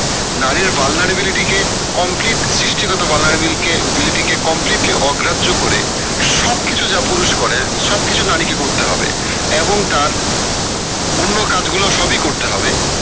নারীর কে complete সৃষ্টিগত completely অগ্রাহ্য করে সব কিছু যা পুরুষ করে সব কিছু নারী কে করতে হবে এবং তার অন্য কাজ গুলা সব ই করতে হবে